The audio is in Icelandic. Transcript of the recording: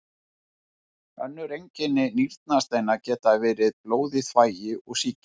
Önnur einkenni nýrnasteina geta verið blóð í þvagi og sýking.